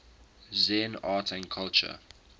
zen art and culture